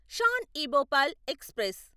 Shan e Bhopal express